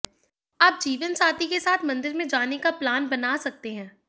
आप जीवनसाथी के साथ मंदिर में जाने का प्लान बना सकते हैं